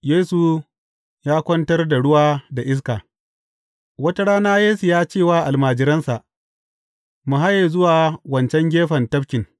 Yesu ya kwantar da ruwa da iska Wata rana Yesu ya ce wa almajiransa, Mu haye zuwa wancan gefen tafkin.